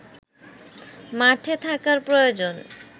মাঠে থাকার প্রয়োজন